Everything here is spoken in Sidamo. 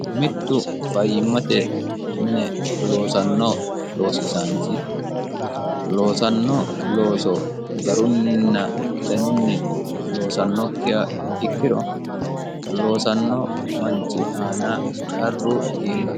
mittu fayyimmate mine loosanno loosisaanchi loosanno looso garunninna danunni loosannokkiha ikkiro loosanno manchi aana qarru iillawo